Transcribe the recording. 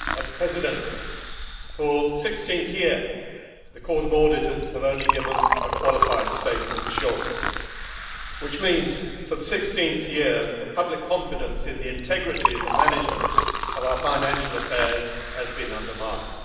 Mr President, for the 16th year the Court of Auditors has only given a qualified statement of assurance, which means for the 16th year public confidence in the integrity of the management of our financial affairs has been undermined.